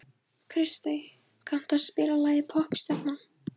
Kristey, kanntu að spila lagið „Poppstjarnan“?